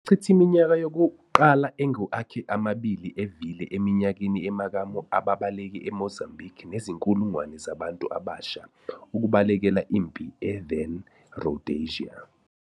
Wachitha iminyaka yokuqala engu akhe amabili evile eminyakeni emakamu ababaleki eMozambique nezinkulungwane zabantu abasha ukubalekela impi e then- Rhodesia.